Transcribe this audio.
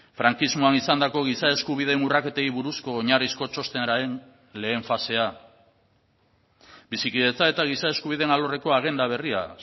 frankismoan izandako giza eskubideen urraketei buruzko oinarrizko txostenaren lehen fasea bizikidetza eta giza eskubideen alorreko agenda berria